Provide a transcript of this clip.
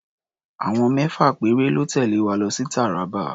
Àwọn mẹ́fà péré lọ́ tẹ̀lé wa lọ sí Taraba.